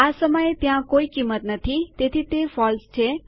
આ સમયે ત્યાં કોઈ કિંમત નથી તેથી તે ફોલ્સ છે